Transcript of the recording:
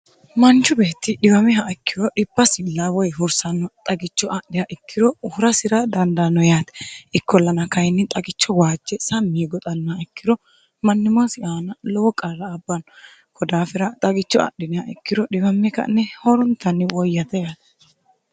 manchu beetti dhimameha ikkiro dhipasill woy hursanno xagicho adhiha ikkiro hurasira dandanno yaate ikkollana kayinni xagicho waajce sammi goxannaa ikkiro mannimoosi aana lowo qarra abbanno kodaafira xagicho adhiniha ikkiro dhimamme ka'ne horontanni woyyate yaate